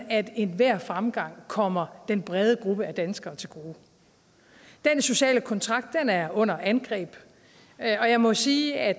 enhver fremgang kommer den brede gruppe af danskere til gode den sociale kontrakt er under angreb og jeg må sige at